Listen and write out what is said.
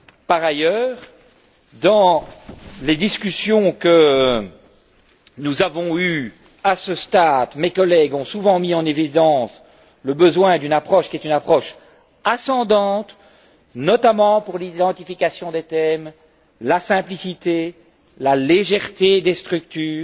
Par ailleurs, dans les discussions que nous avons eues à ce stade, mes collègues ont souvent mis en évidence le besoin d'une approche qui est une approche ascendante, notamment pour l'identification des thèmes, la simplicité, la légèreté des structures,